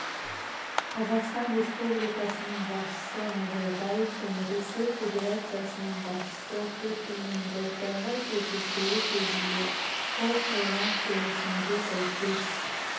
қазақстан республикасының басшысы назарбаев пен ресей федерациясының басшысы путиннің былтырғы кездесуі кезінде қол қойған келісімге сәйкес